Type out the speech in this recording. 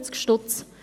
657 Stutz!